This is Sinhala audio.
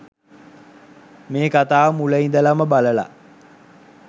මේ කථාව මුල ඉදලම බලලා